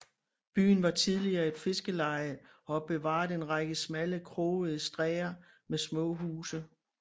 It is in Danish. Byen var tidligere et fiskerleje og har bevaret en række smalle krogede stræder med små huse